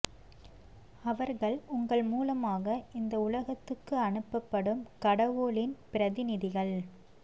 அவர்கள் உங்கள் மூலமாக இந்த உலகத்துக்கு அனுப்பப் படும் கடவுளின் பிரதிநிதிகள்